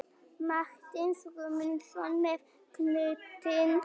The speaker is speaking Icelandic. Matthías Guðmundsson með knöttinn.